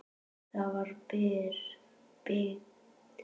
Það var byggt